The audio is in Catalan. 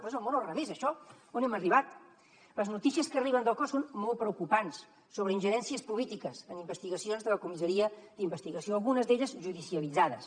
però és el món al revés això on hem arribat les notícies que arriben del cos són molt preocupants sobre ingerències polítiques en investigacions de la comissaria d’investigació algunes d’elles judicialitzades